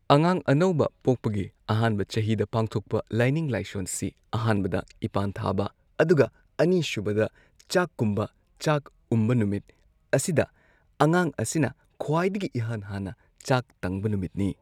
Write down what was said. ꯑꯉꯥꯡ ꯑꯅꯧꯕ ꯄꯣꯛꯄꯒꯤ ꯑꯍꯥꯟꯕ ꯆꯍꯤꯗ ꯄꯥꯡꯊꯣꯛꯄ ꯂꯥꯏꯅꯤꯡ ꯂꯥꯏꯁꯣꯟꯁꯤ ꯑꯍꯥꯟꯕꯗ ꯏꯄꯥꯟ ꯊꯥꯕ ꯑꯗꯨꯒ ꯑꯅꯤꯁꯨꯕꯗ ꯆꯥꯀꯨꯝꯕ ꯆꯥꯛ ꯎꯝꯕ ꯅꯨꯃꯤꯠ ꯑꯁꯤꯗ ꯑꯉꯥꯡ ꯑꯁꯤꯅ ꯈ꯭ꯋꯥꯏꯗꯒꯤ ꯏꯍꯥꯟ ꯍꯥꯟꯅ ꯆꯥꯛ ꯇꯪꯕ ꯅꯨꯃꯤꯠꯅꯤ꯫